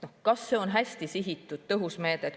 Kas see on hästi sihitud, tõhus meede?